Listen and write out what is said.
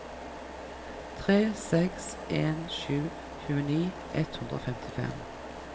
tre seks en sju tjueni ett hundre og femtifem